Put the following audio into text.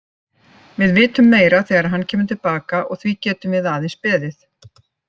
Við vitum meira þegar hann kemur til baka og því getum við aðeins beðið.